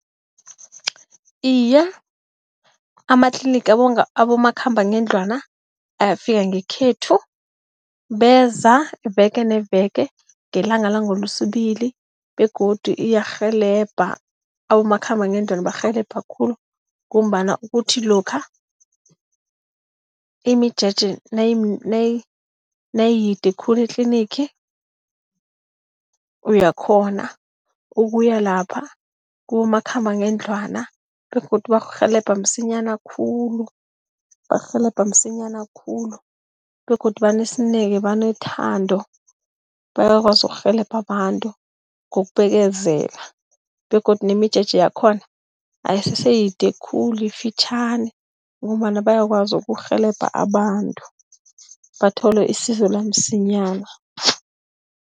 Iye, amatlinigi abomakhamba ngendlwana ayafika ngekhethu, beza iveke neveke ngelanga langeLesibili begodu iyarhelebha. Abomakhambangendlwana barhelebha khulu, ngombana kuthi lokha imijeje nayimide khulu etlinigi, uyakghona ukuya lapha kibomakhambangendlwana begodu bakurhelebha msinyana khulu. Bakurhelebha msinyana khulu begodu banesineke, banethando, bayakwazi ukurhelebha abantu ngokubekezela begodu nemijeje yakhona ayisese yide khulu, yifitjhani ngombana bayakwazi ukukurhelebha abantu bathole isizo lamsinyana.